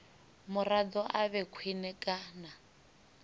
muraḓo a vhe khwine kana